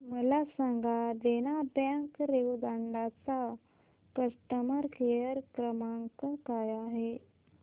मला सांगा देना बँक रेवदंडा चा कस्टमर केअर क्रमांक काय आहे